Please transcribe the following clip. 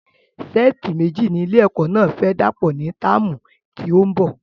Sẹ́ẹ̀tì méji ni ilé ẹ̀kọ́ náà fẹ dàpò ní táàmù tí òún bo